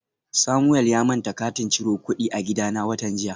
Samuel ya manta katin ciro kudi a gidana watan jiya